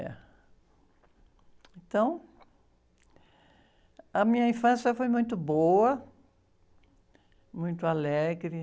Eh, então, a minha infância foi muito boa, muito alegre.